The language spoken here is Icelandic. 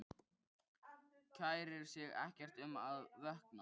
Kærir sig ekkert um að vökna.